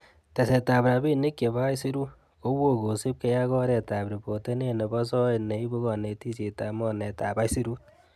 Tesetab rabinik che bo aisurut, ko woo kosiibge ak oretab ripotenet nebo soet neibu konetishietab mornetab aisurut.